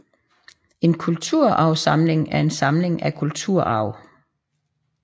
En kulturarvssamling er en samling af kulturarv